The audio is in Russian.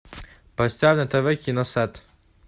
поставь на тв кино сад